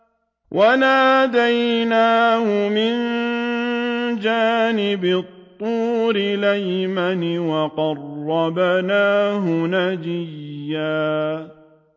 وَنَادَيْنَاهُ مِن جَانِبِ الطُّورِ الْأَيْمَنِ وَقَرَّبْنَاهُ نَجِيًّا